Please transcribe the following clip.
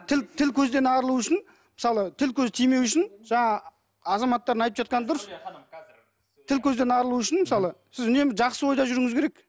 тіл тіл көзден арылу үшін мысалы тіл көз тимеу үшін жаңағы азаматтардың айтып жатқаны дұрыс тіл көзден арылу үшін мысалы сіз үнемі жақсы ойда жүруіңіз керек